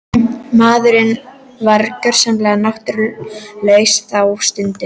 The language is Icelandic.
Maðurinn var gjörsamlega náttúrulaus þá stundina.